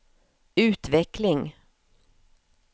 utveckling